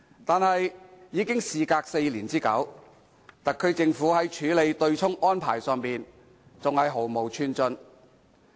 但是，事隔4年之久，特區政府在處理對沖安排上依然毫無寸進。